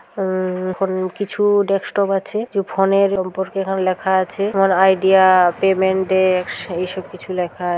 উম-- কিছু ডেক্সটপ আছে। ফোন -এর ওপর লেখা আছে। আইডিয়া পেমেন্টডেক্স এই সব কিছু লেখা আছে।